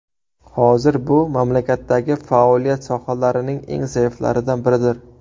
hozir bu mamlakatdagi faoliyat sohalarining eng zaiflaridan biridir.